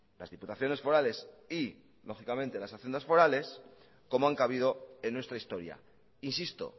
las diputaciones forales y lógicamente las haciendas forales como han cabido en nuestra historia insisto